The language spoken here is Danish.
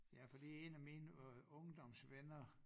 Ja fordi en af mine øh ungdomsvenner